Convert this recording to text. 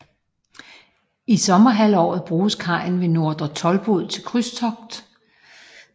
I sommerhalvåret bruges kajen ved Nordre Toldbod til krydstogt